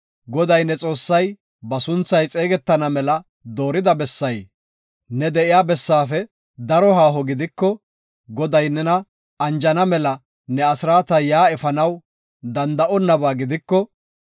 Goday ne Xoossay ba sunthay xeegetana mela doorida bessay, ne de7iya bessaafe daro haaho gidiko, Goday nena anjana mela ne asraata yaa efanaw danda7onnaba gidiko,